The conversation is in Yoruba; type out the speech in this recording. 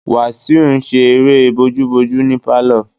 Wasiu n ṣe eré bojúbojú ní pálọ̀